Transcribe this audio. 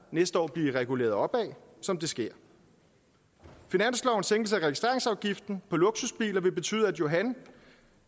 næste år blive reguleret opad som det sker finanslovens sænkelse af registreringsafgiften på luksusbiler vil betyde at johan